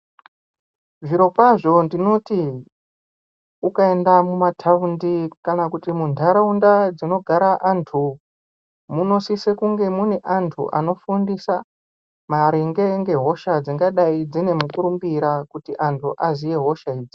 Zvirokwazvo ndinoti ukaenda muma taundi kana kuti mu ndaraunda dzino gara antu muno sise kunge mune antu anofundisa maringe ngehosha dzingadai dzine mukurumbira kuti antu aziye hosha idzi.